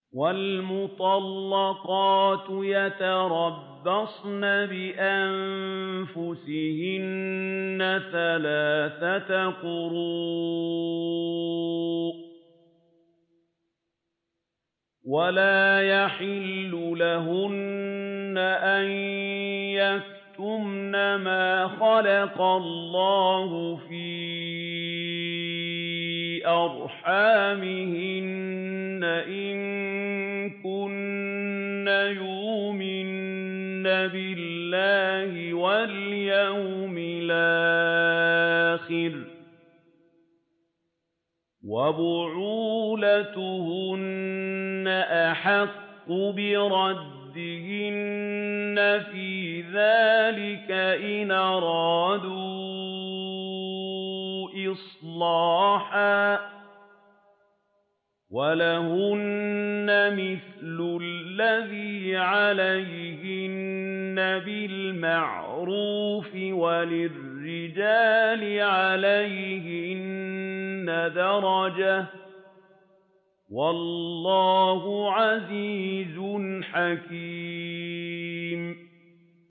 وَالْمُطَلَّقَاتُ يَتَرَبَّصْنَ بِأَنفُسِهِنَّ ثَلَاثَةَ قُرُوءٍ ۚ وَلَا يَحِلُّ لَهُنَّ أَن يَكْتُمْنَ مَا خَلَقَ اللَّهُ فِي أَرْحَامِهِنَّ إِن كُنَّ يُؤْمِنَّ بِاللَّهِ وَالْيَوْمِ الْآخِرِ ۚ وَبُعُولَتُهُنَّ أَحَقُّ بِرَدِّهِنَّ فِي ذَٰلِكَ إِنْ أَرَادُوا إِصْلَاحًا ۚ وَلَهُنَّ مِثْلُ الَّذِي عَلَيْهِنَّ بِالْمَعْرُوفِ ۚ وَلِلرِّجَالِ عَلَيْهِنَّ دَرَجَةٌ ۗ وَاللَّهُ عَزِيزٌ حَكِيمٌ